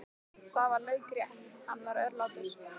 Það var laukrétt, hann var örlátur.